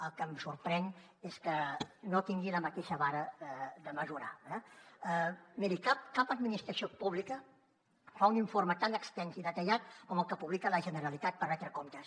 el que em sorprèn és que no tingui la mateixa vara de mesurar eh miri cap administració pública fa un informe tan extens i detallat com el que publica la generalitat per retre comptes